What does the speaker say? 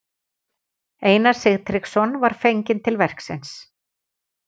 Einar Sigtryggsson var fenginn til verksins.